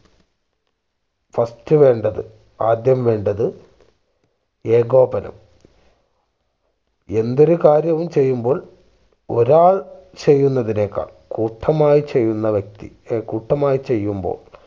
first വേണ്ടത് ആദ്യം വേണ്ടത് ഏകോപനം എന്തൊരു കാര്യം ചെയ്യുമ്പോൾ ഒരാൾ ചെയ്യുന്നതിനേക്കാൾ കൂട്ടമായി ചെയ്യുന്ന വ്യക്തി കൂട്ടമായി ചെയ്യുമ്പോൾ